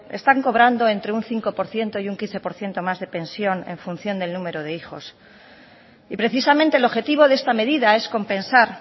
están cobrando entre un cinco por ciento y un quince por ciento más de pensión en función del número de hijos y precisamente el objetivo de esta medida es compensar